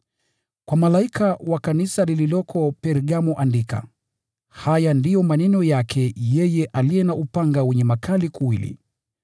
“Kwa malaika wa Kanisa lililoko Pergamo andika: “Haya ndiyo maneno yake yeye aliye na upanga mkali wenye makali kuwili.